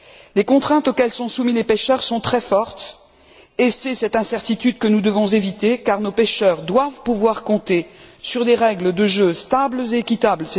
Les contraintes auxquelles sont soumis les pêcheurs sont très fortes et c'est cette incertitude que nous devons éviter, car nos pêcheurs doivent pouvoir compter sur des règles du jeu stables et équitables.